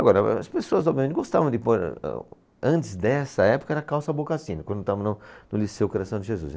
Agora, as pessoas, obviamente, gostavam de pôr, antes dessa época, era calça boca sino, quando estava no, no Liceu Coração de Jesus.